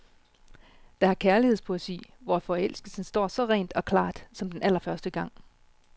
Der er kærlighedspoesi, hvor forelskelsen står så rent og klart som den allerførste gang.